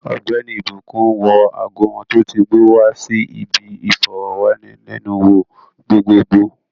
Ogbeni ìbùkún wọ ago wọn tó ti gbó wa si bi iforowanilenu wo gbogbogbo